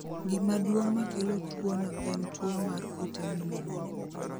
Gima duong' makelo tuwono en tuwo mar kute miluongo